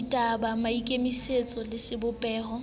ditaba maikemisetso maemo le sebopeho